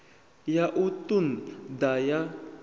ya u ṱun ḓa ya